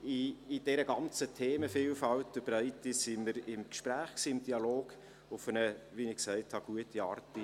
In dieser ganzen Themenvielfalt und breite sind wir im Gespräch, im Dialog, wie ich gesagt habe, in einer guten Art.